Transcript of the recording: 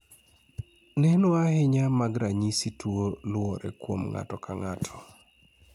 neno ahinya mag ranyisi tuo loure kuom ng'ato ka ng'ato